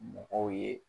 Mɔgɔw ye